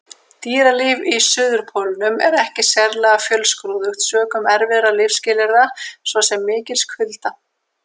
Dýralíf á Suðurpólnum er ekki sérlega fjölskrúðugt sökum erfiðra lífsskilyrða, svo sem mikils kulda.